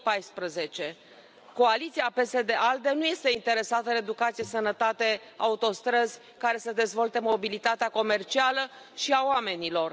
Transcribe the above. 2014. Coaliția PSD ALDE nu este interesată de educație, sănătate, autostrăzi care să dezvolte mobilitatea comercială și a oamenilor.